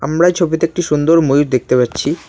আমরা এই ছবিতে একটি সুন্দর ময়ূর দেখতে পাচ্ছি।